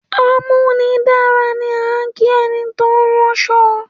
‘Amúnidára’ ni à ń kí e̩ni tó ń ráns̩o̩